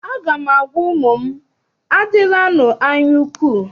Aga m agwa ụmụ m, adịlanụ anyaukwu!